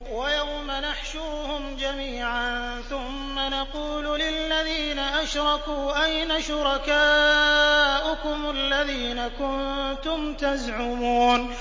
وَيَوْمَ نَحْشُرُهُمْ جَمِيعًا ثُمَّ نَقُولُ لِلَّذِينَ أَشْرَكُوا أَيْنَ شُرَكَاؤُكُمُ الَّذِينَ كُنتُمْ تَزْعُمُونَ